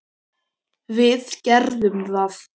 Við gerðum það.